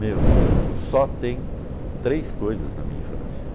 Meu, só tem três coisas na minha infância.